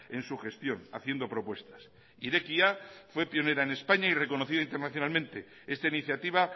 en su gestión haciendo propuestas irekia fue pionera en españa y reconocida internacionalmente esta iniciativa